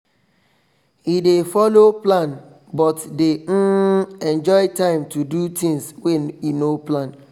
e dey follow plan but dey um enjoy time to do things wey e no plan